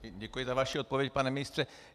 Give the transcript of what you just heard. Děkuji za vaši odpověď, pane ministře.